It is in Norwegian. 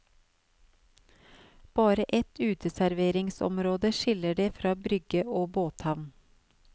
Bare et uteserveringsområde skiller det fra brygge og båthavn.